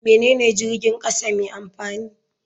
Menene jirgin kasa mai amfani?